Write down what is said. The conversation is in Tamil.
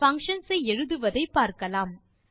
பங்ஷன்ஸ் ஐ எழுதுவதை பார்க்கலாம்